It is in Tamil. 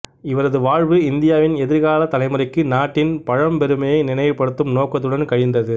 இவரது வாழ்வு இந்தியாவின் எதிர்காலத் தலைமுறைக்கு நாட்டின் பழம்பெருமையை நினைவுபடுத்தும் நோக்கத்துடன் கழிந்தது